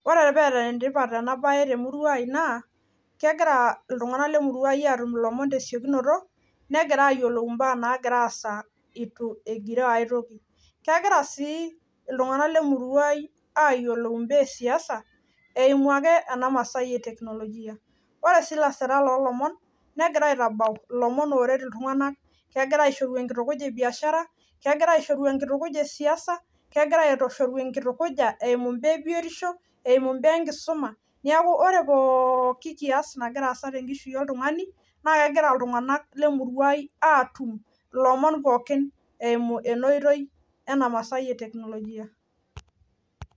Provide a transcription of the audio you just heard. ore pee eta ena naa kegira iltung'anak lemuruang' ilomon tesiokinoto loo gira asa etu egiroo aitoki, ayiolou ibaa esiasa etu egiroo aitoki ore sii ilasirak loo ilomon negira aitabau kegira ashoru enkitukuja emu ibaa enkisuma neeku ore pooki kiyas nagira asa tenkishui oltung'ani, naa kegira iltunganak lemurua ai atum ilomon pooki eyumu ena masai etekinolojia.